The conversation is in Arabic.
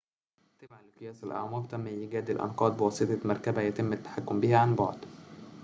تبعاً لقياس الأعماق تم إيجاد الأنقاض بواسطة مركبة يتم التحكم بها عن بعد